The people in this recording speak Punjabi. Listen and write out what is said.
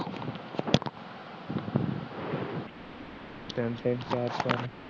samsung